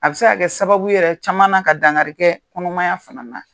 A bɛ se ka kɛ sababu ye yɛrɛ caman ka dangarikɛ kɔnɔmaya fana na